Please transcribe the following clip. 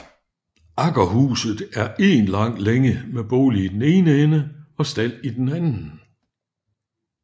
Aggerhuset er én lang længe med bolig i den ene ende og stald i den anden